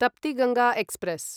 Tapti Ganga express